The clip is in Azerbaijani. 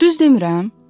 Düz demirəm?